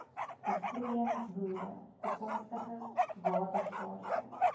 besproeiingsboere toekomstige waterskaarste